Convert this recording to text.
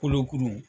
Kolokuru